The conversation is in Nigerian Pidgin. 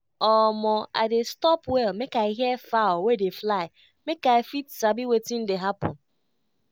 omo i dey stop well make i hear fowl wey dey fly make i fit sabi wetin dey happen.